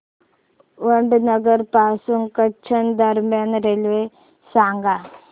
वडनगर पासून कच्छ दरम्यान रेल्वे सांगा